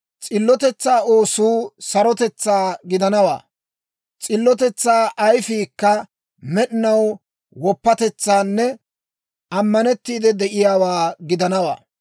S'illotetsaa oosuu sarotetsaa gidanawaa; s'illotetsaa ayifiikka med'inaw woppatetsaanne ammanettiide de'iyaawaa gidanawaa.